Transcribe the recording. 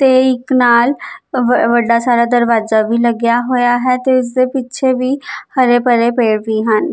ਤੇ ਇਕ ਨਾਲ ਵੱਡਾ ਸਾਰਾ ਦਰਵਾਜਾ ਵੀ ਲੱਗਿਆ ਹੋਇਆ ਹੈ ਤੇ ਇਸਦੇ ਪਿੱਛੇ ਵੀ ਹਰੇ ਭਰੇ ਪੇੜ ਵੀ ਹਨ।